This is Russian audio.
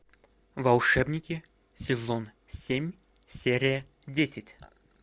волшебники сезон семь серия десять